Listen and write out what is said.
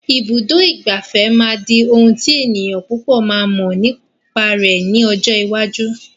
Ibùdó ìgbafẹ́ máa di ohùn tí ènìyàn púpò máa mọ nípa rẹ̀ ní ọjọ́ iwájú.